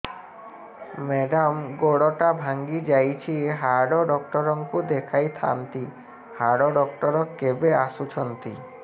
madam ଗୋଡ ଟା ଭାଙ୍ଗି ଯାଇଛି ହାଡ ଡକ୍ଟର ଙ୍କୁ ଦେଖାଇ ଥାଆନ୍ତି ହାଡ ଡକ୍ଟର କେବେ ଆସୁଛନ୍ତି